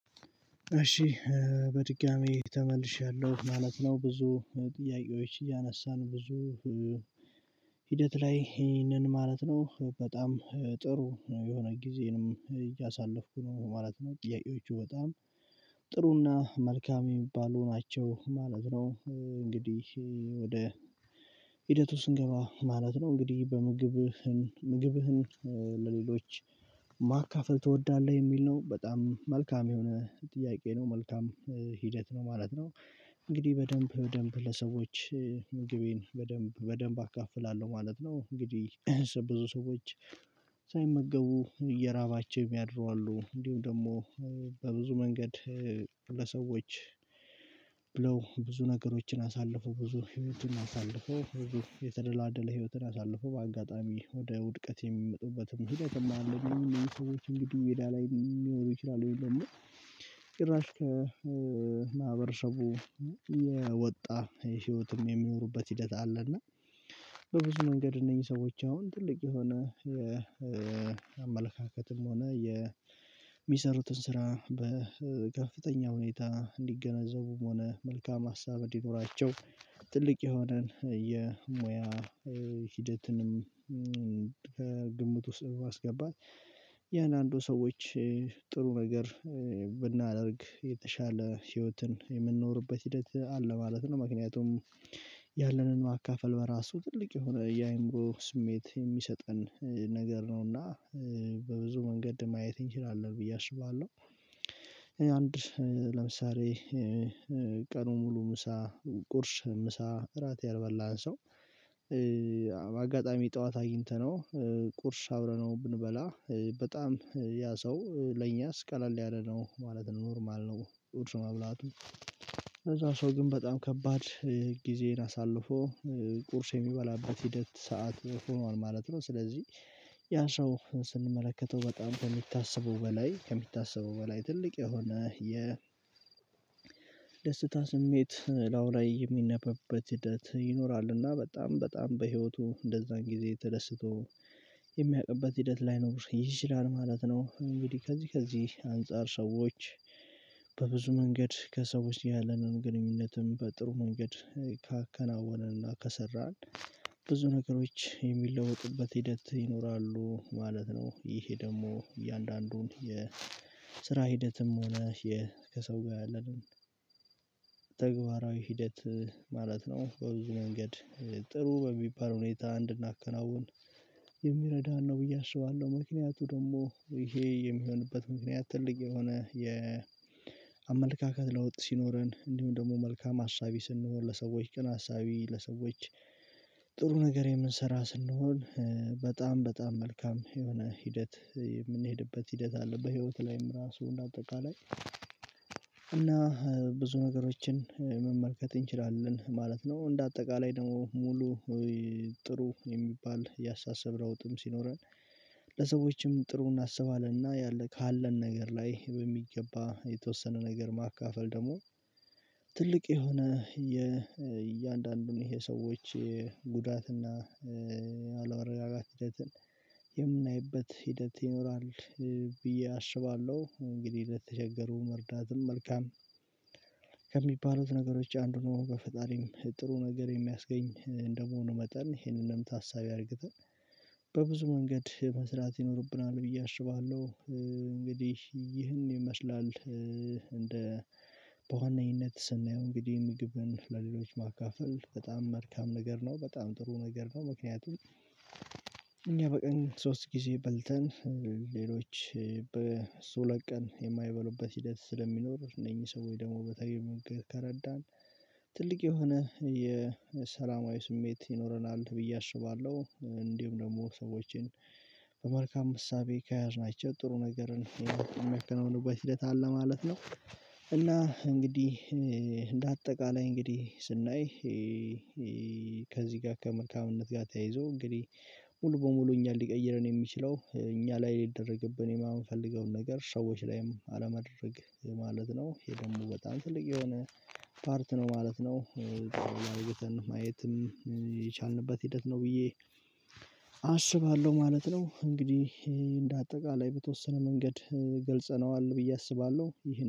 እሺ በድጋሜ ተመልሻለሁ ማለት ነው። ብዙ ጥያቄዎች እያነሳን ብዙ ሂደት ላይ ይሄንን ማለት ነው። በጣም ጥሩ የሆነ ጊዜንም እያሳለፍኩ ነው ማለት ነው። ጥያቄዎቹ በጣም ጥሩና መልካም የሚባሉ ናቸው ማለት ነው። እንግዲህ ወደ ሂደቱ ስንገባ ማለት ነው እንግዲህ በምግብህን ምግብህን ለሌሎች ማካፈል ትወዳለህ የሚል ነው በጣም መልካም የሆነ ጥያቄ ነው መልካም ሂደት ነው ማለት ነው። እንግዲህ በደንብ በደንብ ለሰዎች ምግቤን በደንብ በደንብ አካፍላለሁ ማለት ነው። እንግዲህ ብዙ ሰዎች ሳይመገቡ እየራባቸው የሚያድሩ አሉ። እንዲሁም ደግሞ በብዙ መንገድ ለሰዎች ብለው ብዙ ነገሮችን አሳልፎው ብዙ ህይወትን አሳልፎው ብዙ የተደላደለ ህይወትን አሳልፎው በአጋጣሚ ወደ ውድቀት የሚመጡበትም ሂደትም አለ አይደለም የሚሉ ሰዎች እንግዲህ ሜዳ ላይ ሊኖሩ ይችላሉ የለም። እና ጭራሽ ከ ማህበረሰቡ የወጣ የህይወትም የሚኖሩበት ሂደት አለ። እና በብዙ መንገድ እነዚህ ሰዎች አሁን ትልቅ የሆነ የአመለካከትም ሆነ የሚሰሩትን ስራ በከፍተኛ ሁኔታ እንዲገነዘቡም ሆነ መልካም ሀሳብ እንዲኖራቸው ትልቅ የሆነን የሙያ ሂደትንም ከግምቱ ውስጥ በማስገባት የእንዳንዱ ሰዎች ጥሩ ነገር ብናደርግ የተሻለ ህይወትን የምንኖርበት ሂደት አለ ማለት ነው። ምክንያቱም ያለንን ማካፈል በራሱ ትልቅ የሆነ የአይምሮ ስሜት የሚሰጠን ነገር ነውና በብዙ መንገድ ማየት እንችላለን ብዬ አስባለሁ። አንድ ለምሳሌ ቀኑን ሙሉ ምሳ ቁርስ ምሳ እራት ያልበላን ሰው አጋጣሚ ጠዋት አግኝተነው ቁርስ አብረነው ብንበላ በጣም ያ ሰው ለእኛስ ቀለል ያለ ነው ማለት ኖርማል ነው። ቁርስ መብላቱ ለዛ ሰው ግን በጣም ከባድ ጊዜን አሳልፎ ቁርስ የሚበላበት ሂደት ሰዓት ሆኗል ማለት ነው። ስለዚህ ያ ሰው ስንመለከተው በጣም ከሚታሰበው በላይ ከሚታሰበው በላይ ትልቅ የሆነ የ ደስታ ስሜት ላዩ ላይ የሚነበበት ሂደት ይኖራል እና በጣም በጣም በህይወቱ እንደዛን ጊዜ ተደስቶ የሚያቅበት ሂደት ላይ ነው ይችላል ማለት ነው። እንግዲህ ከዚህ ከዚህ አንፃር ሰዎች በብዙ መንገድ ከሰዎች ያለንን ግንኙነትም በጥሩ መንገድ ካከናወነንና ከሰራን ብዙ ነገሮች የሚለውጥበት ሂደት ይኖራሉ ማለት ነው። ይሄ ደግሞ እያንዳንዱን የስራ ሂደትም ሆነ ከሰው ጋር ያለንን ተግባራዊ ሂደት ማለት ነው በብዙ መንገድ ጥሩ በሚባል ሁኔታ እንድናከናውን የሚረዳን ነው ብዬ አስባለሁ። ምክንያቱ ደግሞ ይሄ የሚሆንበት ምክንያት ትልቅ የሆነ የአመለካከት ለውጥ ሲኖረን እንዲሁም ደግሞ መልካም አሳቢ ስንሆን ለሰዎች ቅን አሳቢ ለሰዎች ጥሩ ነገር የምንሰራ ስንሆን በጣም በጣም መልካም የሆነ ሂደት የምንሄድበት ሂደት አለ። በህይወትህ ላይም ራሱ እንደ አጠቃላይ እና ብዙ ነገሮችን መመልከት እንችላለን ማለት ነው። እንደ አጠቃላይ ደግሞ ሙሉ ጥሩ የሚባል ያሳሰብ ለውጥም ሲኖረን ለሰዎችም ጥሩ እናስባለንና ያለ ካለን ነገር ላይ በሚገባ የተወሰነ ነገር ማካፈል ደግሞ ትልቅ የሆነ የእያንዳንዱን ይሄ ሰዎች የጉዳት እና አለመረጋጋት ሂደትን የምናይበት ሂደት ይኖራል ብዬ አስባለሁ። እንግዲህ ለተቸገሩ መርዳትም መልካም ከሚባሉት ነገሮች አንዱ ነው፤ በፈጣሪም ጥሩ ነገር የሚያስገኝ እንደመሆኑ መጠን ይሄንንም ታሳቢ አድርገን በብዙ መንገድ መስራት ይኖርብናል ብዬ አሽባለሁ። እንግዲህ ይህን ይመስላል እንደ በዋነኝነት ስናየው እንግዲህ ምግብን ለሌሎች ማካፈል በጣም መልካም ነገር ነው በጣም ጥሩ ነገር ነው። ምክንያቱም፤ እኛ በቀን ሶስት ጊዜ በልተን ሌሎች በሶለት ቀን የማይበሉበት ሂደት ስለሚኖር እነኚህ ሰዎች ደግሞ በተገኘ ምግብ ከረዳን ትልቅ የሆነ የሰላማዊ ስሜት ይኖረናል ብዬ አስባለሁ። እንዲሁም ደግሞ ሰዎችን በመልካም እሳቤ ከያዝናቸው ጥሩ ነገርን የሚያከናውኑበት ሂደት አለ ማለት ነው። እና እንግዲህ እንደ አጠቃላይ እንግዲህ ስናይ ከዚህ ጋር ከመልካምነት ጋር ተያይዞ እንግዲህ ሙሉ በሙሉ እኛን ሊቀይረን የሚችለው እኛ ላይ ሊደረግብን የማንፈልገውን ነገር ሰዎች ላይም አለማድረግ ማለት ነው ይሄ ደግሞ በጣም ትልቅ የሆነ ፓርት ነው ማለት ነው። ማየትን ማየትም የቻልንበት ሂደት ነው ብዬ አስባለሁ ማለት ነው። እንግዲህ እንደ አጠቃላይ በተወሰነ መንገድ ገልጸነዋል ብዬ አስባለሁ ይሄ